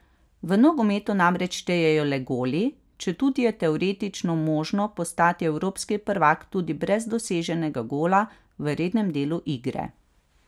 V nogometu namreč štejejo le goli, četudi je teoretično možno postati evropski prvak tudi brez doseženega gola v rednem delu igre.